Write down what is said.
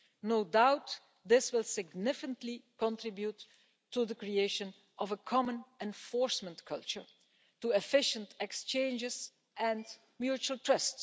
No doubt this will significantly contribute to the creation of a common enforcement culture, to efficient exchanges and mutual trust.